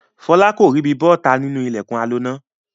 Fọlá kò ríbi bọ́ta nínú ilẹ̀kùn aloná.